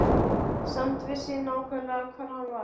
Samt vissi ég nákvæmlega hvar hann var.